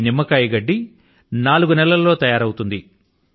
ఈ నిమ్మకాయ గడ్డి నాలుగు నెలల్లో తయారవుతుంది